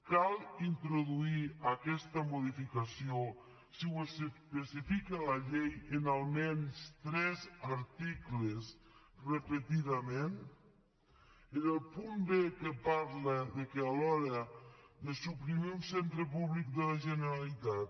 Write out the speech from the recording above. cal introduir aquesta modificació si ho especifica la llei en almenys tres articles repetidament en el punt b que parla que a l’hora de suprimir un centre públic de la generalitat